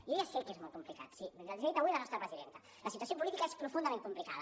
jo ja sé que és molt complicat sí els ho ha dit avui la nostra presidenta la situació política és profundament complicada